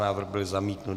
Návrh byl zamítnut.